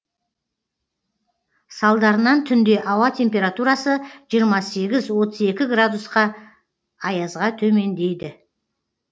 салдарынан түнде ауа температурасы жиырма сегіз отыз екі градусқа аязға төмендейді